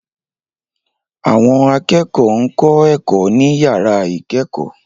Àwọn akẹ́kọ̀ọ́ ń kọ́ ẹ̀kọ́ ní yàrá ìkẹ́kọ̀ọ́